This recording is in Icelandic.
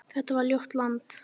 Þetta var ljótt land.